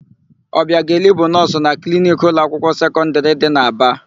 Ọbiageli bụ nọọsụ na kliniki ụlọakwụkwọ sekọndịrị dị n'Aba.